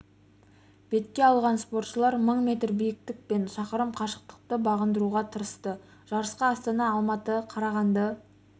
бетке алған спортшылар мың метр биіктік пен шақырым қашықтықты бағындыруға тырысты жарысқа астана алматы қарағанды